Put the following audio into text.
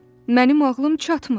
Mənim ağlım çatmır.